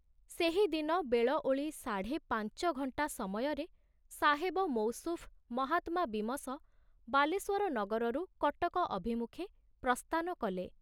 ସେହିଦିନ ବେଳଓଳି ସାଢ଼େ ପାଞ୍ଚଘଣ୍ଟା ସମୟରେ ସାହେବ ମୌସୁଫ ମହାତ୍ମା ବୀମସ ବାଲେଶ୍ବର ନଗରରୁ କଟକ ଅଭିମୁଖେ ପ୍ରସ୍ଥାନ କଲେ।